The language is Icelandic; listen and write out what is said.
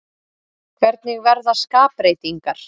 Hvernig verða skapbreytingar?